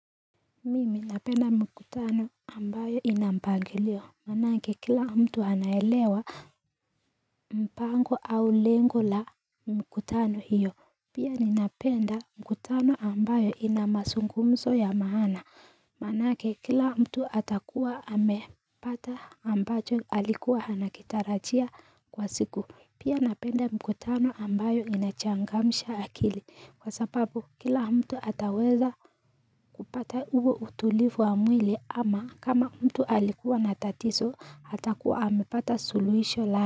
Mimi napenda mkutano ambayo inampangilio Manake kila mtu anaelewa mpango au lengo la mkutano hiyo Pia ninapenda mkutano ambayo ina mazungumzo ya maana Manake kila mtu atakuwa amepata ambacho alikuwa anakitarajia kwa siku Pia napenda mkutano ambayo inachangamsha akili kwa sababu kila mtu ataweza kupata huo utulivu wa mwili ama kama mtu alikuwa na tatizo atakuwa amepata suluhisho la.